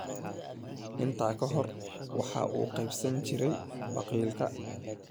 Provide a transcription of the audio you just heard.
Intaa ka hor waxa uu qaybsan jiray biqilka.